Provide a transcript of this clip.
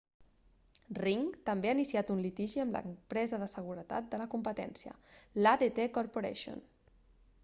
ring també ha iniciat un litigi amb l'empresa de seguretat de la competència l'adt corporation